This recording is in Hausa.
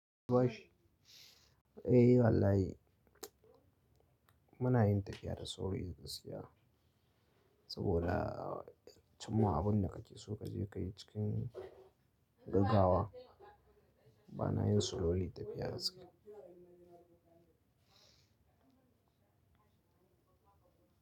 Eh wallahi muna yin tafiya da sauri gaskiya. Saboda cimma abinda kake so kaje kayi cikin gaggawa bana yin slowly tafiya gaskiya.